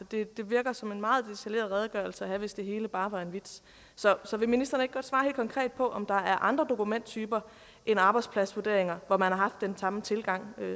det virker som en meget detaljeret redegørelse hvis det hele bare var en vits så vil ministeren ikke godt svare helt konkret på om der er andre dokumenttyper end arbejdspladsvurderinger hvor man har haft den samme tilgang